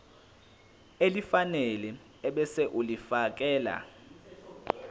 elifanele ebese ulifiakela